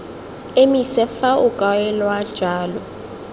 emise fa o kaelwa jalo